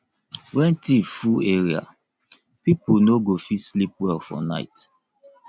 when thief full area pipo no go fit sleep well for night